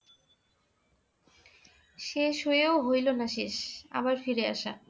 শেষ হয়েও হইলো না শেষ আবার ফিরে আসা